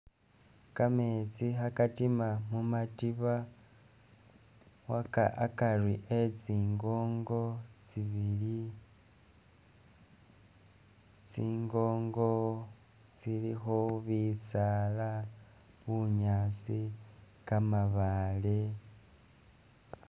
Gameetsi khagadima khumadiba hagari hezi ngongo zibili, zingongo zilikho bisaala bunyaasi, gamabaale